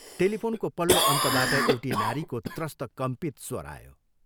टेलिफोनको पल्लो अन्तबाट एउटी नारीको त्रस्त कम्पित स्वर आयो।